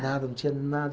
Nada, não tinha nada.